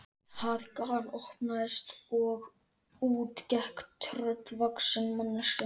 Það galopnaðist og út gekk tröllvaxin mannvera.